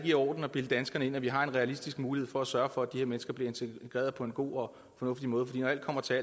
i orden at bilde danskerne ind at vi har en realistisk mulighed for at sørge for at de her mennesker bliver integreret på en god og fornuftig måde for når alt kommer til